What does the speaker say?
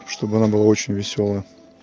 чтобы она была очень весёлая